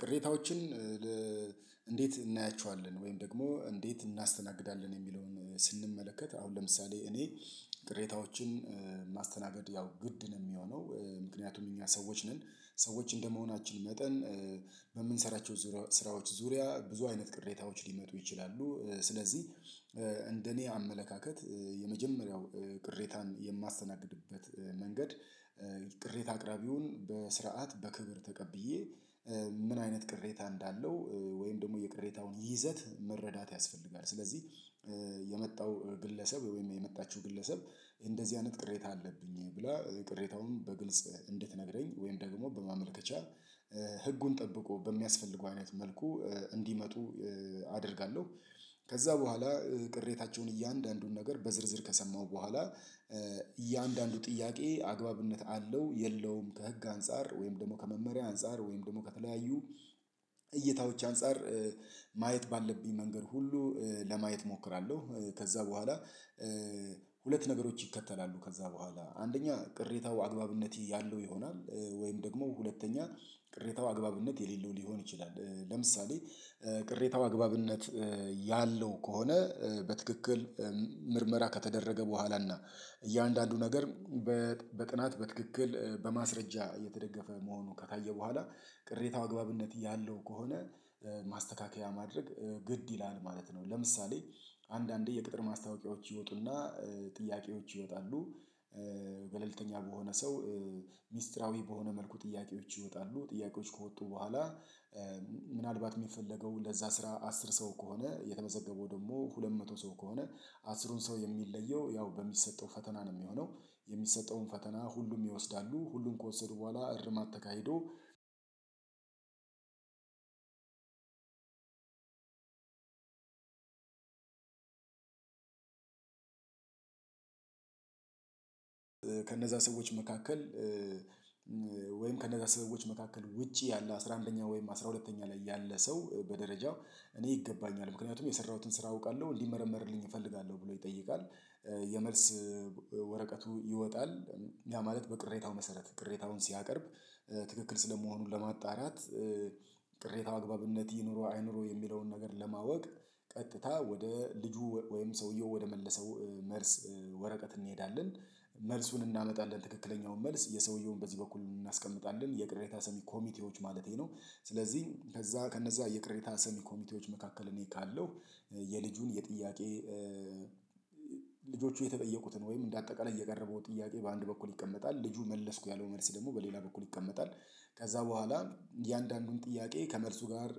ቅሬታዎችን እንዴት እናያቸዋለን ወይም ደግሞ እንዴት እናስተናግዳለን? የሚለውን ስንመለከት አሁን ለምሳሌ እኔ ቅሬታዎችን ማስተናገድ ያው ግድ ነው የሚሆነው ምክንያቱም እኛ ሰዎች ነን ሰዎች እንደመሆናችን መጠን በምንሰራቸው ስራዎች ዙሪያ ብዙ አይነት ቅሬታዎች ሊመጡ ይችላሉ ስለዚህ እንደኔ አመለካከት የመጀመሪያው ቅሬታን የማስተናግድበት መንገድ ቅሬታ አቅራቢውን በስርዓት በክብር ተቀብዬ ምን አይነት ቅሬታ እንዳለው ወይም ደግሞ የቅሬታውን ይዘት መረዳት ያስፈልጋል ስለዚህ የመጣው ግለሰብ ወይም የመጣችው ግለሰብ እንደዚህ አይነት ቅሬታ አለብኝ ብላ ቅሬታውን በግልጽ እንድትነግረኝ ወይም ደግሞ በማመልከቻ ህጉን ጠብቆ በሚያስፈልገው አይነት መልኩ እንዲመጡ አደርጋለሁ። ከዛ በኋላ ቅሬታቸውን እያንዳንዱን ነገር በዝርዝር ከሰማሁ በኋላ እያንዳንዱ ጥያቄ አግባብነት አለው የለውም ከህግ አንፃር ወይም ደግሞ ከመመሪያ አንፃር ወይም ደግሞ ከተለያዩ እይታዎች አንፃር ማየት ባለብኝ መንገድ ሁሉ ለማየት እሞክራለሁ፣ ከዛ በኋላ ሁለት ነገሮች ይከተላሉ ከዛ በኋላ አንደኛ ቅሬታው አግባብነት ያለው ይሆናል ወይም ደግሞ ሁለተኛ ቅሬታው አግባብነት የሌለው ሊሆን ይችላል ለምሳሌ ቅሬታው አግባብነት ያለው ከሆነ በትክክል ምርመራ ከተደረገ በኋላና እያንዳንዱ ነገር በጥናት በትክክል በማስረጃ የተደገፈ መሆኑ ከታየ በኋላ ቅሬታው አግባብነት ያለው ከሆነ ማስተካከያ ማድረግ ግድ ይላል ማለት ነው፣ ለምሳሌ አንዳንዴ የቅጥር ማስታወቂያዎች ይወጡና ጥያቄዎች ይወጣሉ ገለልተኛ በሆነ ሰው ሚስጥራዊ በሆነ መልኩ ጥያቄዎች ይወጣሉ ጥያቄዎች ከወጡ በኋላ ምናልባት የሚፈለገው ለዛ ስራ አስር ሰው ከሆነ የተመዘገበው ደግሞ ሁለት መቶ ሰው ከሆነ አስሩን ሰው የሚለየው ያው በሚሰጠው ፈተና ነው የሚሆነው የሚሰጠውን ፈተና ሁሉም ይወስዳሉ ሁሉም ከወሰዱ በኋላ እርማት ተካሂዶ አንድ ከነዛ ሰዎች መካከል ወይም ከነዛ ሰዎች መካከል ውጪ ያለ አስራ አንደኛ ወይም አስራ ሁለተኛ ላይ ያለ ሰው በደረጃ እኔ ይገባኛል ምክንያቱም የሰራሁትን ስራ አውቃለሁ እንዲመረመርልኝ እፈልጋለሁ ብሎ ይጠይቃል የመልስ ይወጣል ያ ማለት በቅሬታው መሰረት ቅሬታውን ሲያቀርብ ትክክል ስለመሆኑ ለማጣራት ቅሬታው አግባብነት ይኑረው አይኑረው የሚለውን ነገር ለማወቅ ቀጥታ ወደ ልጁ ወይም ሰውየው ወደመለሰው መልስ ወረቀት እንሄዳለን መልሱን እናመጣለን ትክክለኛውን መልስ የሰውየውን በዚህ በኩል እናስቀምጣለን የቅሬታ ሰሚ ኮሚቴዎች ማለቴ ነው ስለዚህ ከዛ ከነዛ የቅሬታ ሰሚ ኮሚቴዎች መካከል እኔ ካለው የልጁን የጥያቄ ልጆቹ የተጠየቁትን ወይም እንደ አጠቃላይ እየቀረበው ጥያቄ በአንድ በኩል ይቀመጣል ልጁ መለስኩ ያለው መልስ ደግሞ በሌላ በኩል ይቀመጣል ከዛ በኋላ እያንዳንዱን ጥያቄ ከመልሱ ጋር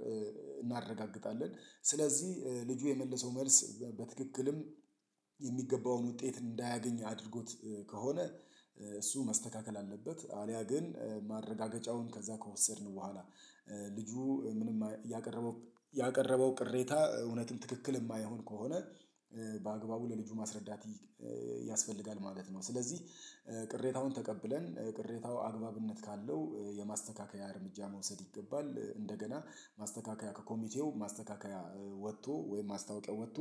እናረጋግጣለን ስለዚህ ልጁ የመለሰው መልስ በትክክልም የሚገባውን ውጤት እንዳያገኝ አድርጎት ከሆነ እሱ መስተካከል አለበት አልያ ግን ማረጋገጫውን ከዛ ከወሰድን በኋላ ልጁ ምንም ያቀረበው ያቀረበው ቅሬታ እውነትም ትክክል የማይሆን ከሆነ በአግባቡ ለልጁ ማስረዳት ያስፈልጋል ማለት ነው። ስለዚህ ቅሬታውን ተቀብለን ቅሬታው አግባብነት ካለው የማስተካከያ እርምጃ መውሰድ ይገባል እንደገና ማስተካከያ ከኮሚቴው ማስተካከያ ወጥቶ ወይም ማስታወቂያ ወጥቶ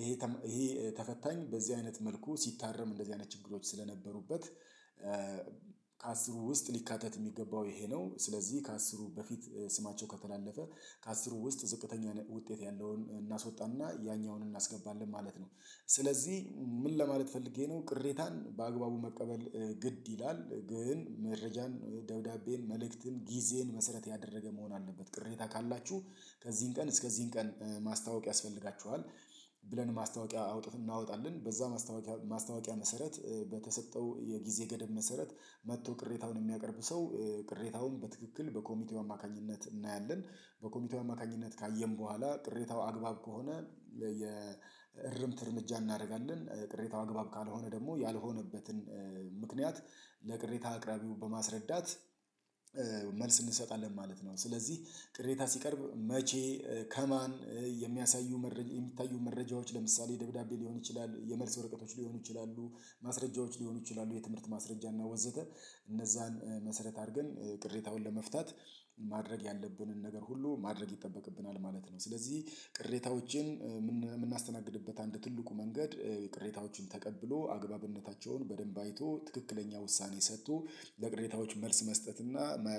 ይሄ ይሄ ተፈታኝ በዚህ አይነት መልኩ ሲታረም እንደዚህ አይነት ችግሮች ስለነበሩበት ከአስሩ ውስጥ ሊካተት የሚገባው ይሄ ነው ስለዚህ ከአስሩ በፊት ስማቸው ከተላለፈ ከአስሩ ውስጥ ዝቅተኛ ውጤት ያለውን እናስወጣና ያኛውን እናስገባለን ማለት ነው፣ ስለዚህ ምን ለማለት ፈልጌ ነው ቅሬታን በአግባቡ መቀበል ግድ ይላል ግን መረጃን፣ ደብዳቤን፣ መልእክትን፣ ጊዜን መሰረት ያደረገ መሆን አለበት ቅሬታ ካላችሁ ከዚህን ቀን እስከዚህን ቀን ማስታወቂያ ያስፈልጋችኋል ብለን ማስታወቂያ አውጥቶ እናወጣለን በዛ ማስታወቂያ መሰረት በተሰጠው የጊዜ ገደብ መሰረት መጥቶ ቅሬታውን የሚያቀርቡ ሰው ቅሬታውን በትክክል በኮሚቴው አማካኝነት እናያለን በኮሚቴው አማካኝነት ካየን በኋላ ቅሬታው አግባብ ከሆነ የእርምት እርምጃ እናደርጋለን ቅሬታው አግባብ ካልሆነ ደግሞ ያልሆነበትን ምክንያት ለቅሬታ አቅራቢው በማስረዳት መልስ እንሰጣለን ማለት ነው ስለዚህ ቅሬታ ሲቀርብ መቼ ከማን የሚያሳዩ መረጃ የሚታዩ መረጃዎች ለምሳሌ ደብዳቤ ሊሆን ይችላል፣ የመልስ ወረቀቶች ሊሆኑ ይችላሉ፣ ማስረጃዎች ሊሆኑ ይችላሉ፣ የትምህርት ማስረጃ እና ወዘተ እነዛን መሰረት አድርገን ቅሬታውን ለመፍታት ማድረግ ያለብንን ነገር ሁሉ ማድረግ ይጠበቅብናል ማለት ነው ስለዚህ ቅሬታዎችን የምናስተናግድበት አንድ ትልቁ መንገድ ቅሬታዎችን ተቀብሎ አግባብነታቸውን በደንብ አይቶ ትክክለኛ ውሳኔ ሰቶ ለቅሬታዎች መልስ መስጠትና የማያዳግም